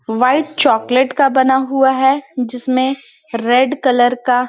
white chocolate का बना हुआ है जिसमे रेड कलर का--